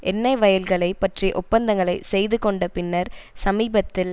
எண்ணெய் வயல்களை பற்றிய ஒப்பந்தங்களை செய்து கொண்ட பின்னர் சமீபத்தில்